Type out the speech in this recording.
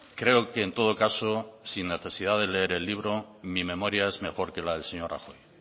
creo que en todo caso sin necesidad de leer el libro mi memoria es mejor que la del señor rajoy